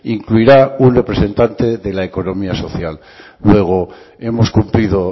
incluirá un representante de la economía social luego hemos cumplido